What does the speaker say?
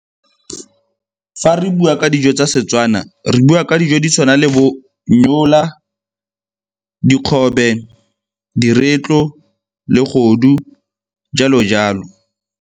Fa re bua ka dijo tsa Setswana, re bua ka dijo di tshwana le bo nnyola, dikgobe, diretlo, le , jalo jalo.